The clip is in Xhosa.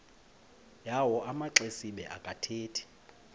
yawo amaxesibe akathethi